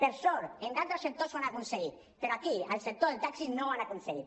per sort en altres sectors ho han aconseguit però aquí en el sector del taxi no ho han aconseguit